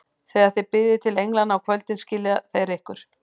Þegar þið biðjið til englanna á kvöldin, skilja þeir ykkur.